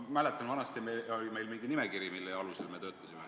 Ma mäletan, et vanasti oli meil nimekiri, mille alusel me töötasime.